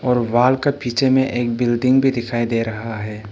और वॉल का पीछे में एक बिल्डिंग भी दिखाई दे रहा है।